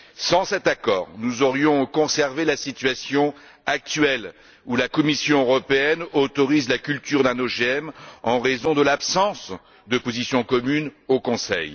Sans cet accord, nous aurions conservé la situation actuelle, où la Commission européenne autorise la culture d'un OGM en raison de l'absence de position commune au Conseil.